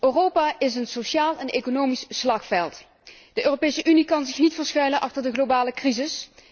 Europa is een sociaal en economisch slagveld, de Europese Unie kan zich niet verschuilen achter de globale crisis.